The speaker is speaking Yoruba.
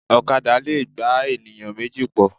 Ọ̀kadà lẹ̀ gbé ènìyàn méjì pọ̀.